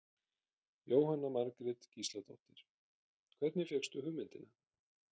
Jóhanna Margrét Gísladóttir: Hvernig fékkstu hugmyndina?